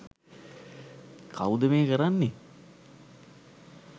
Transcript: කවුද මෙය කරන්නේ?